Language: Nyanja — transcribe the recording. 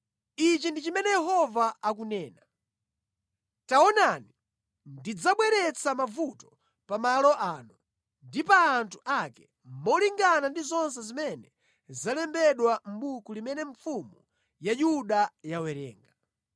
‘Ichi ndi chimene Yehova akunena: Taonani, ndidzabweretsa mavuto pa malo ano ndi pa anthu ake, molingana ndi zonse zimene zalembedwa mʼbuku limene mfumu ya Yuda yawerenga.